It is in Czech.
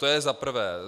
To je za prvé.